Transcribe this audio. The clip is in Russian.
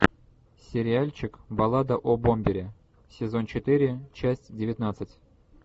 сериальчик баллада о бомбере сезон четыре часть девятнадцать